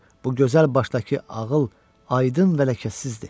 Bu gözəl başdakı ağıl aydın və ləkəsizdir.